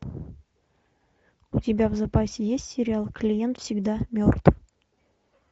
у тебя в запасе есть сериал клиент всегда мертв